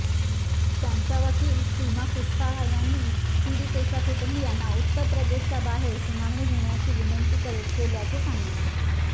त्यांच्या वकील सीमा खूशवाह यांनी पीडितेच्या कुटुंबियांनी उत्तर प्रदेशच्या बाहेर सुनावणी घेण्याची विनंती केल्याचे सांगितले